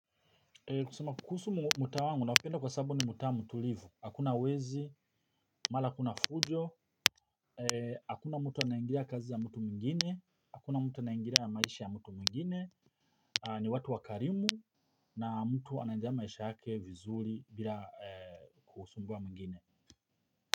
Kusoma kuhusu muta wangu, napenda kwa sababu ni muta mutulivu, hakuna wezi, mala kuna fujo. Hakuna mtu anangiria kazi ya mutu mingine. Hakuna mtu anangiria maisha ya mutu mingine. Ni watu wakarimu. Na mtu ananjia maisha yake vizuli bila kuhusumbua mingine.